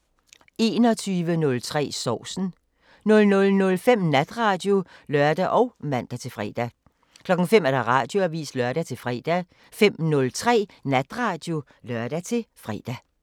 21:03: Sovsen 00:05: Natradio (lør og man-fre) 05:00: Radioavisen (lør-fre) 05:03: Natradio (lør-fre)